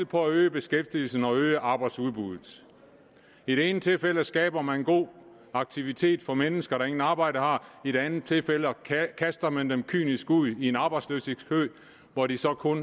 på at øge beskæftigelsen og på at øge arbejdsudbuddet i det ene tilfælde skaber man god aktivitet for mennesker der intet arbejde har i det andet tilfældet kaster man dem kynisk ud i en arbejdsløshedskø hvor de så kun